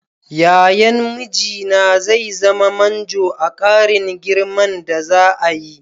Yayan mijina zai zama manjo a ƙarin girman da za'a yi.